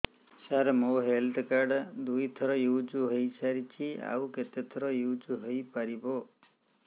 ସାର ମୋ health card ଦୁଇ ଥର ୟୁଜ଼ ହୈ ସାରିଛି ଆଉ କେତେ ଥର ୟୁଜ଼ ହୈ ପାରିବ